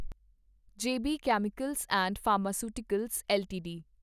ਜੇ B chemicals and pharmaceuticals LTD